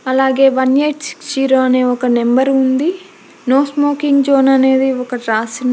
అలాగే one eight six zero అనే ఒక నెంబర్ ఉంది నో స్మోకింగ్ జోన్ అనేది ఒక రాస్--